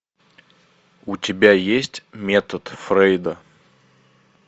у тебя есть метод фрейда